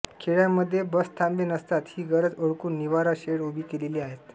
खेड्यामध्ये बसथांबे नसतात ही गरज ओळखून निवारा शेड उभी केलेली आहेत